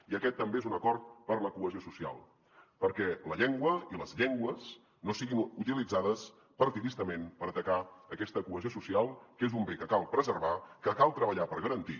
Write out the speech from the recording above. i aquest també és un acord per la cohesió social perquè la llengua i les llengües no siguin utilitzades partidistament per atacar aquesta cohesió social que és un bé que cal preservar que cal treballar per garantir